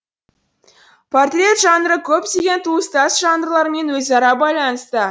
портрет жанры көптеген туыстас жанрлармен өзара байланыста